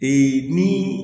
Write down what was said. ni